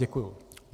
Děkuji.